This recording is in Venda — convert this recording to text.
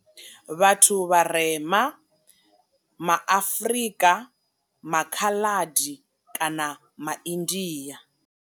Vhathu vharema ma Afrika, ma Khaḽadi kana ma India.